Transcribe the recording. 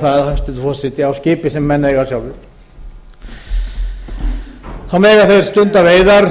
það hæstvirtur forseti á skipi sem menn eiga sjálfir þá mega þeir stunda veiðar